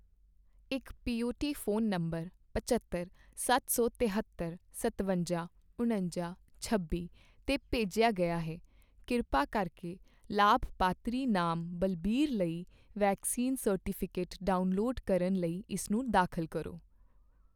ਇੱਕ ਪੀਓਟੀ phone number ਪਝੱਤਰ, ਸੱਤ ਸੌ ਤਹੇਤਰ, ਸਤਵੰਜਾ, ਉਣੰਜਾ, ਛੱਬੀ 'ਤੇ ਭੇਜਿਆ ਗਿਆ ਹੈ। ਕਿਰਪਾ ਕਰਕੇ ਲਾਭਪਾਤਰੀ ਨਾਮ ਬਲਬੀਰ ਲਈ ਵੈਕਸੀਨ ਸਰਟੀਫਿਕੇਟ ਡਾਊਨਲੋਡ ਕਰਨ ਲਈ ਇਸਨੂੰ ਦਾਖਲ ਕਰੋ